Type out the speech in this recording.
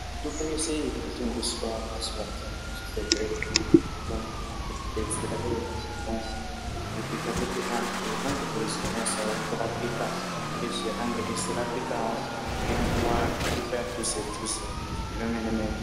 Mitombo yeshe inotengeswa mazuva ano muzvibhedhlera. Inobetsera uyezve mitimbo irikuita kuti vantu angevo eizonyatsa kurapika ngezveantu eizorapikavo ngenguva iri padhuze-dhuze kwemene-mene.